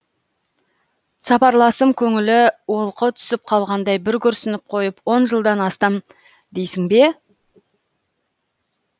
сапарласым көңілі олқы түсіп қалғандай бір күрсініп қойып он жылдан астам дейсің бе